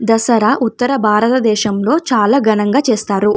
దసరా ఉత్తరభారత దేశంలో చాల ఘనంగా చేస్తారు.